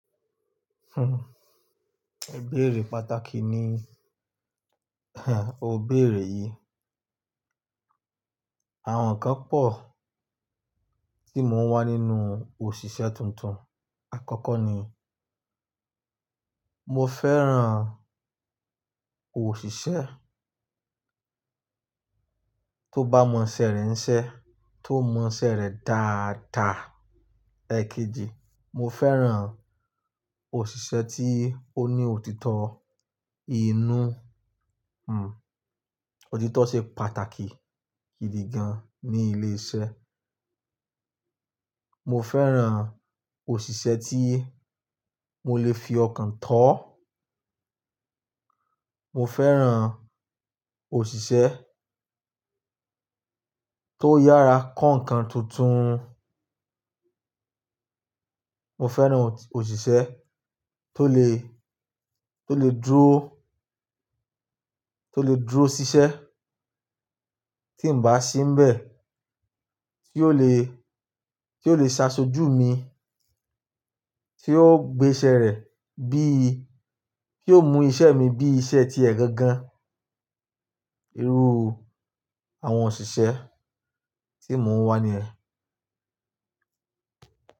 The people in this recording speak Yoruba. Ìbéèrè pàtàkì ni ò béèrè yìí. Àwọn ǹkan pọ̀ tí mò ń wá nínú òṣìṣẹ́ tuntun. Àkọ́kọ́ ni, mo fẹ́ran òṣìṣẹ́ tó bá mọ iṣẹ́ rẹ̀ ń ṣẹ, tó mọ iṣẹ́ rẹ̀ dáadaa. Èekejì, mo fẹ́ran òṣìṣẹ́ tí ó ní òtítọ́ inú, òtítọ́ ṣe pàtàkì gidi gan ní ilé iṣẹ́. Mo fẹ́ran òṣìṣẹ́ tí mo lè fi ọkàn tó. Mo fẹ́ran òṣìṣẹ́ tó yára kọ́ ǹkan tuntun. Mo fẹ́ran òṣìṣẹ́ tó lè, tó lè dúró, tó lè dúró ṣiṣẹ́ tí ǹ bá sí ńbẹ̀, tí yóò lè, tí yóò lè ṣaṣojú mi, tí yóò gbé iṣẹ́ rẹ̀ bíi-- tí yóò mú iṣẹ́ mi bí i iṣẹ́ ti ẹ̀ gangan. Irú àwọn òṣìṣẹ́ tí mò ń wá niyen.